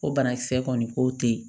Ko banakisɛ kɔni ko te yen